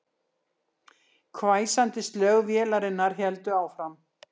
Hvæsandi slög vélarinnar héldu áfram